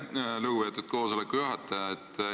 Aitäh, lugupeetud koosoleku juhataja!